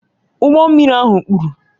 Ụgbọ mmiri ahụ kpuru